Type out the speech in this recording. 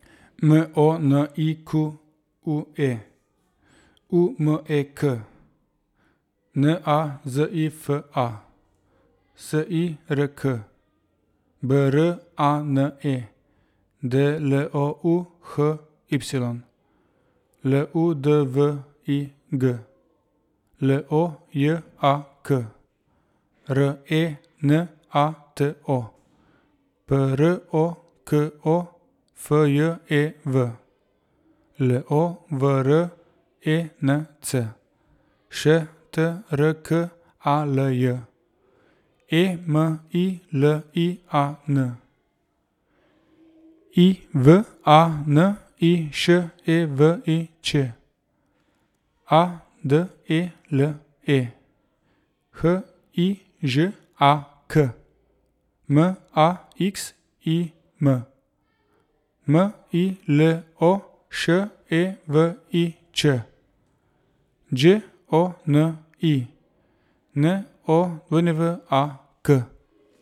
M O N I Q U E, U M E K; N A Z I F A, S I R K; B R A N E, D L O U H Y; L U D V I G, L O J A K; R E N A T O, P R O K O F J E V; L O V R E N C, Š T R K A L J; E M I L I A N, I V A N I Š E V I Ć; A D E L E, H I Ž A K; M A X I M, M I L O Š E V I Č; Đ O N I, N O W A K.